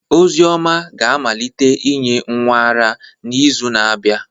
Ozioma ga-amalite inye nwa ara n'izu na-abịa.